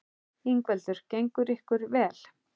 Ingveldur: Gengur ekki vel?